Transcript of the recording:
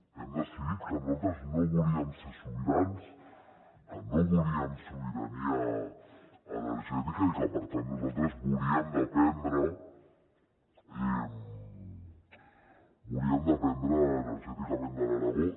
hem decidit que nosaltres no volíem ser sobirans que no volíem sobirania energètica i que per tant nosaltres volíem dependre energèticament de l’aragó